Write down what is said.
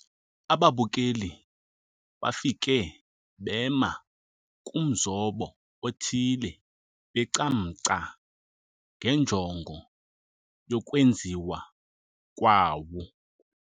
Ababukeli bafike bema kumzobo othile becamngca ngenjongo yokwenziwa kwawo.